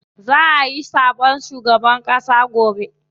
Za ayi zaɓen shugaban ƙass gobe.